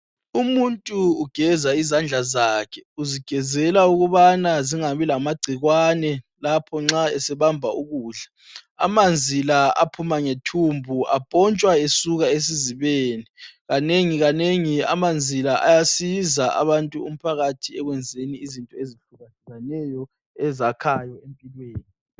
Umuntu ugeza izandla zakhe, uzigezela ukubana zingabi lamagcikwane lapho nxa esebamba ukudla. Amanzi la aphuma ngethumbu apontshwa esuka esizibeni kanengi kanengi amanzi la ayasiza abantu, umphakathi ekwenzeni izinto ezihlukahlukeneyo ezakhayo empilweni.